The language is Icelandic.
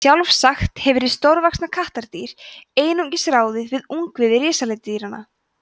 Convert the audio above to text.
sjálfsagt hefur hið stórvaxna kattardýr einungis ráðið við ungviði risaletidýranna